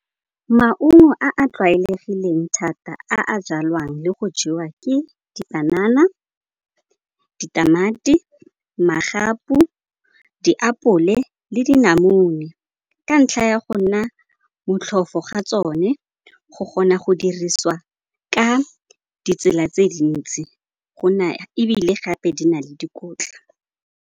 Maungo a a tlwaelegileng thata, a jalwang le go jewa ke dipanana, ditamati, magapu, diapole le dinamune. Ka ntlha ya go nna motlhofo ga tsone, go kgona go dirisiwa ka ditsela tse dintsi go na ebile gape di na le dikotla.